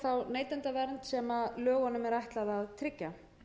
neytendavernd sem lögunum er ætlað að tryggja